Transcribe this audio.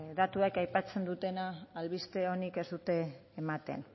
datuek aipatzen dutena albiste onik ez dute ematen